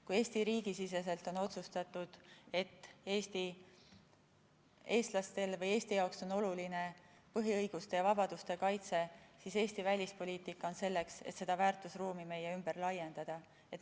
Kui Eesti riigi siseselt on otsustatud, et eestlastele või Eesti jaoks on oluline põhiõiguste ja vabaduste kaitse, siis Eesti välispoliitika on selleks, et seda väärtusruumi meie ümber laiendada.